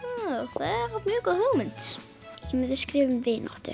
það er mjög góð hugmynd ég myndi skrifa um vináttu